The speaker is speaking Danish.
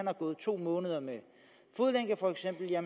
har gået to måneder med fodlænke